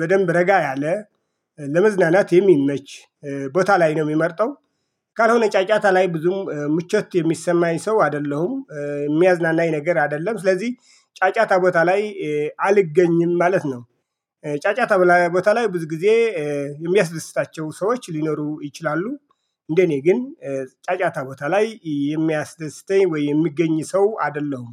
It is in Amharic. በደንብ ረጋ ያለ ለመዝናናት የሚመች ቦታ ላይ ነው የምመርጠው ካልሆነ ጫጫታ ላይ ብዙም ምቾት የሚሰማኝ ሰው አይደለሁም። የሚያዝናናኝ ነገር አይደለም። ስለዚህ ጫጫታ ቦታ ላይ አልገኝም። ማለት ነው። ጫጫታ ቦታ ላይ ብዙ ጊዜ የሚያስደስታቸው ሰዎች ሊኖሩ ይችላሉ። እንደኔ ግን ጫጫታ ቦታ ላይ የሚያስደስተኝ ወይ? የምገኝ ሰው አይደለሁም።